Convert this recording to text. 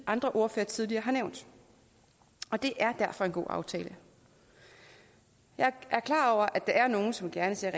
andre ordførere tidligere har nævnt og det er derfor en god aftale jeg er klar over at der er nogle som gerne ser